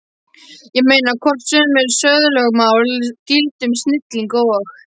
Ég meina, hvort sömu siðalögmál gildi um snillinga og